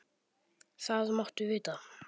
Það máttu vita.